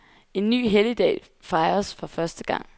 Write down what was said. En ny helligdag fejres for første gang.